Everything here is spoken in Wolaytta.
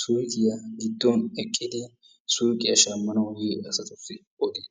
suyqiyaa giddon eqqidi suyqiya shammanawu yiya asatussi odees.